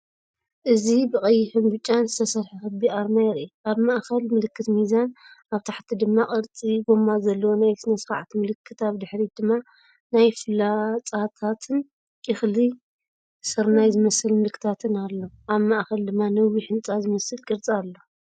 እዚ ብቐይሕን ብጫን ዝተሰርሐ ክቢ ኣርማ የርኢ። ኣብ ማእከል ምልክት ሚዛን፣ ኣብ ታሕቲ ድማ ቅርጺ ጎማ ዘለዎ ናይ ስነ-ስርዓት ምልክት፣ ኣብ ድሕሪት ድማ ፍላጻታትን እኽሊ ስርናይ ዝመስል ምልክታትን ኣሎ። ኣብ ማእከል ድማ ነዊሕ ህንጻ ዝመስል ቅርጺ ኣሎ።